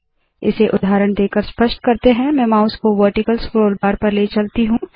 इसे उदाहरण देकर स्पष्ट करते है मैं माउस को वर्टिकल स्क्रोल बार पर ले चलती हूँ